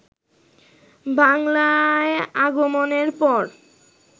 বাংলায় আগমনের পর